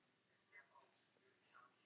Hún á í vandræðum með hann.